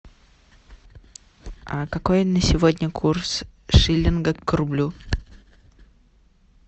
какой на сегодня курс шиллинга к рублю